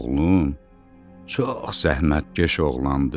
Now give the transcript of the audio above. Oğlum çox zəhmətkeş oğlandır.